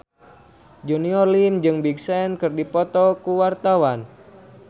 Junior Liem jeung Big Sean keur dipoto ku wartawan